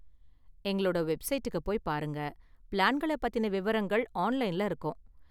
எங்களோட வெப்சைட்டுக்கு போய் பாருங்க, பிளான்கள பத்தின விவரங்கள் ஆன்லைன்ல இருக்கும்.